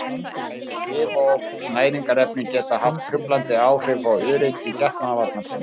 Bæði lyf og næringarefni geta haft truflandi áhrif á öryggi getnaðarvarnarpilla.